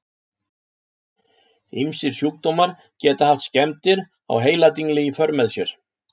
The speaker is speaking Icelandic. Ýmsir sjúkdómar geta haft skemmdir á heiladingli í för með sér.